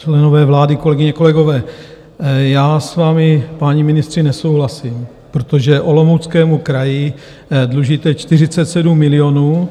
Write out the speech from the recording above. Členové vlády, kolegyně, kolegové, já s vámi, páni ministři, nesouhlasím, protože Olomouckému kraji dlužíte 47 milionů.